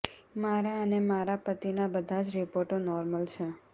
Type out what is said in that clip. મારા અને મારા પતિના બધા જ રિપોર્ટ નોર્મલ છેે